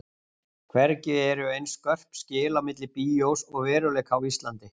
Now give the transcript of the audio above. Hvergi eru eins skörp skil á milli bíós og veruleika og á Íslandi.